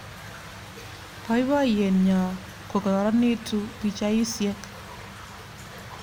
Boiboiyenyo kokororonitu pichaisyek"